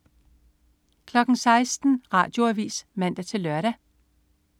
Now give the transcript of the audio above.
16.00 Radioavis (man-lør)